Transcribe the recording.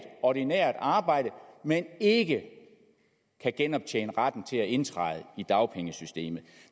ordinært arbejde men ikke kan genoptjene retten til at indtræde i dagpengesystemet